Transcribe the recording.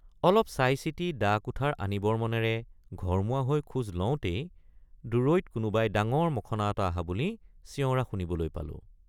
অলপ চাইচিতি দাকুঠাৰ আনিবৰ মনেৰে ঘৰমুৱা হৈ খোজ লওঁতেই দূৰৈত কোনোবাই ডাঙৰ মখনা এটা অহা বুলি চিঞৰা শুনিবলৈ পালোঁ।